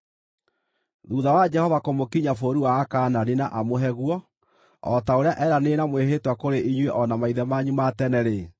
“Thuutha wa Jehova kũmũkinyia bũrũri wa Akaanani na amũhe guo, o ta ũrĩa eeranĩire na mwĩhĩtwa kũrĩ inyuĩ o na maithe manyu ma tene-rĩ,